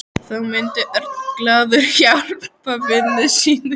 Þá myndi Örn glaður hjálpa vini sínum.